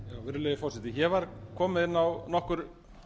virðulegi forseti hér var komið inn á nokkur